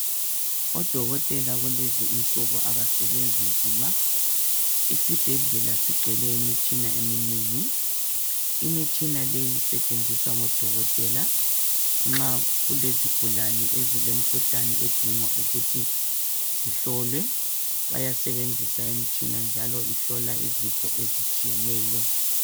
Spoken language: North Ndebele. Odokotela kulezinsuku abasebenzi nzima isibhedlela sigcwele imitshina eminengi imitshina leyi isetshenziswa ngodokotela nxa kulezigulane ezilemkhuhlane edinga ukuthi zihlolwe bayasebenzisa imitshina njalo ihlola izifo ezitshiyeneyo.